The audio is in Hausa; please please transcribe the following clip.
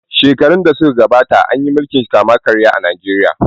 Sherun da suka shu gabata, an yi milkin kama karya a Najeriya.